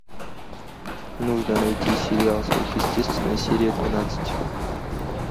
нужно найти сериал сверхъестественное серия двенадцать